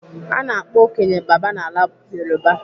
Ana akpọ okenye 'baba' n'ala Yoruba.